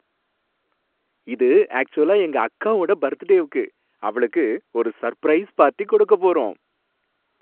இது ஆக்ச்சுவலா எங்க அக்காவோட பர்த்டேவுக்கு. அவளுக்கு ஒரு சர்ப்ரைஸ் பார்ட்டி கொடுக்கப் போறோம்.